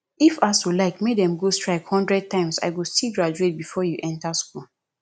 if asuu like make dem go strike hundred times i go still graduate before you enter school